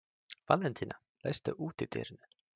Valentína, læstu útidyrunum.